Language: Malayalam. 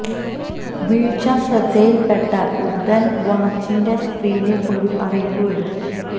വീഴ്ച ശ്രദ്ധയിൽ പെട്ടാൽ ഉടൻ വാച്ചിന്റെ സ്ക്രീനിൽ ഒരു അറിയിപ്പ് വരും